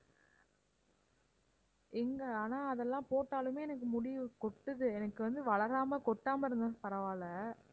எங்க ஆனா அதெல்லாம் போட்டாலுமே எனக்கு முடி கொட்டுது எனக்கு வந்து வளராம கொட்டாம இருந்தா பரவாயில்லை